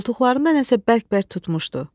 Qoltuqlarında nəsə bərk-bərk tutmuşdu.